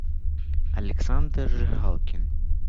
александр жигалкин